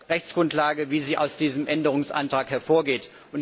Rechtsgrundlage, wie sie aus diesem Änderungsantrag hervorgeht.